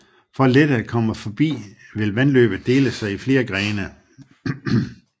For lettere at komme forbi vil vandløbet dele sig i flere grene